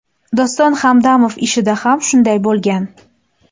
Doston Hamdamov ishida ham shunday bo‘lgan.